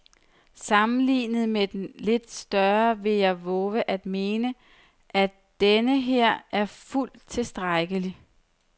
Sammenlignet med den lidt større vil jeg vove at mene, at denneher er fuldt tilstrækkelig.